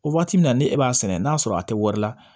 O waati min na ni e b'a sɛnɛ n'a sɔrɔ a tɛ wari la